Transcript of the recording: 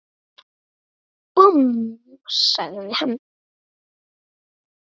Búmm! sagði hann.